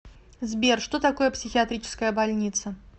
сбер что такое психиатрическая больница